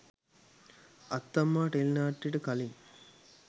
අත්තම්මා ටෙලිනාට්‍යයට කලින්